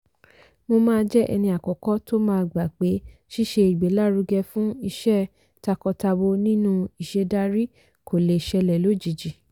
mo máa jẹ́ ẹni àkọ́kọ́ tó ma gbà pé ṣíṣe ìgbélárugẹ fún ìṣe takọ-tabo nínú ìṣèdarí kò lè ṣẹlẹ̀ lójijì.